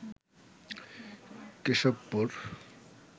Keshabpur